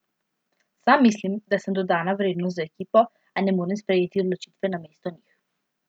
Sam mislim, da sem dodana vrednost za ekipo, a ne morem sprejeti odločitve namesto njih.